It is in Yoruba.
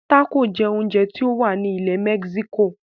Tácò jẹ oúnjẹ tí o wá láti ilẹ̀ mexico.